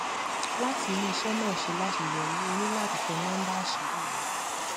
láti rí iṣẹ náà ṣe láṣeyọrí o ní láti tẹ number àṣírí rẹ